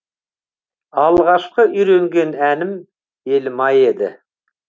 алғашқы үйренген әнім елім ай еді